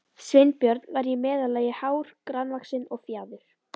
Sveinbjörn var í meðallagi hár, grannvaxinn og fjaður